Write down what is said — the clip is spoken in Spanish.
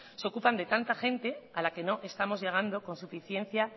se ocupan de tanta gente a la que no estamos llegando con suficiencia